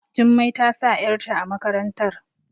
Jummai ta sa yarta a makarantar